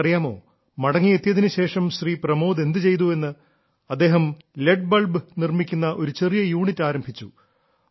നിങ്ങൾക്കറിയാമോ മടങ്ങി എത്തിയതിനുശേഷം ശ്രീ പ്രമോദ് എന്തു ചെയ്തു എന്ന് അദ്ദേഹം എൽ ഇ ഡി ബൾബ് നിർമ്മിക്കുന്ന ഒരു ചെറിയ യൂണിറ്റ് ആരംഭിച്ചു